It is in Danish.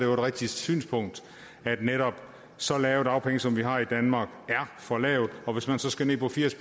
rigtigt synspunkt at netop så lave dagpenge som vi har i danmark er for lave og hvis man så skal ned på firs